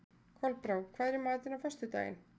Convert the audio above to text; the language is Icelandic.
Kolbrá, hvað er í matinn á föstudaginn?